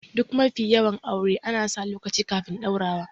Duk mafi yawan aure ana sa lokaci kafin ɗaurawa